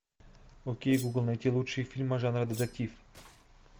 окей гугл найти лучшие фильмы жанра детектив